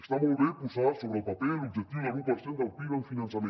està molt bé posar sobre el paper l’objectiu de l’u per cent del pib en finançament